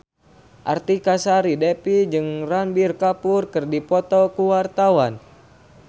Artika Sari Devi jeung Ranbir Kapoor keur dipoto ku wartawan